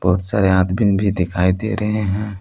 सारे आदबीन भी दिखाई दे रहे है।